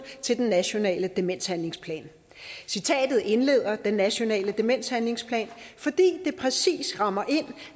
til den nationale demenshandlingsplan citatet indleder den nationale demenshandlingsplan fordi det præcis rammer ind